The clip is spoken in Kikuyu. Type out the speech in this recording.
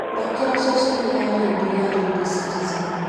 thaakĩra ceceni ya rĩndiũ ya redio citizen